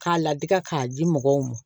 K'a ladi ka k'a di mɔgɔw ma